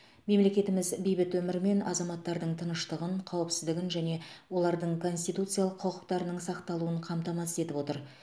мемлекетіміз бейбіт өмір мен азаматтардың тыныштығын қауіпсіздігін және олардың конституциялық құқықтарының сақталуын қамтамасыз етіп отыр